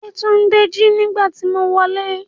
Yetunde n ji nígbàtí mo wolẹ́.